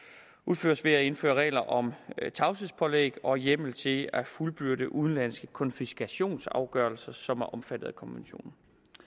er indføre regler om tavshedspålæg og hjemmel til at fuldbyrde udenlandske konfiskationsafgørelser som er omfattet af konventionen